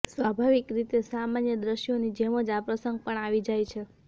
સ્વાભાવિક રીતે સામાન્ય દ્રશ્યોની જેમ જ આ પ્રસંગ પણ આવી જાય છે